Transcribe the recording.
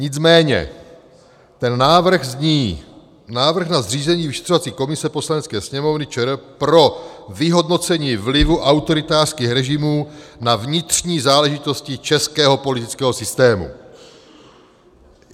Nicméně ten návrh zní: Návrh na zřízení vyšetřovací komise Poslanecké sněmovny ČR pro vyhodnocení vlivu autoritářských režimů na vnitřní záležitosti českého politického systému.